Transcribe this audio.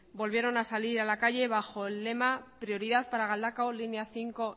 volvieron a salir a la calle bajo el lema prioridad para galdakao línea bost